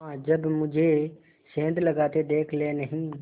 हाँ जब मुझे सेंध लगाते देख लेनहीं